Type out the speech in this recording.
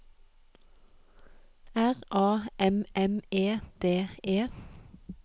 R A M M E D E